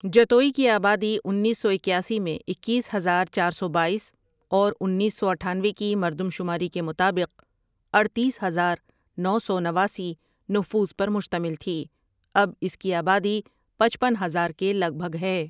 جتوئی کی آبادی انیس سو اکیاسی میں اکیس ہزار چار سو بایس اور انیس سو اٹھانوے کی مردم شماری کے مطابق اڈتیس ہزار نو سو نواسی نفوس پر مشتمل تھی اب اس کی آبادی پچپن ہزار کے لگ بھگ ہے۔